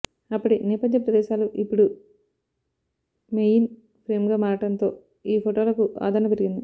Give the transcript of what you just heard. అప్పటి నేపథ్య ప్రదేశాలు ఇప్పుడు మొయిన్ ఫ్రేమ్గా మారడంతో ఈ ఫోటోలకూ ఆదరణ పెరిగింది